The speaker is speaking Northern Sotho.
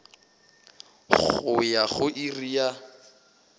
go ya go iri ya